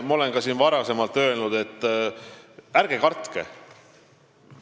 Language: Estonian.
Ma olen siin ka varem öelnud, et ärge kartke.